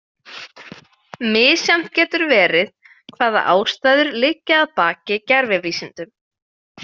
Misjafnt getur verið hvaða ástæður liggja að baki gervivísindum.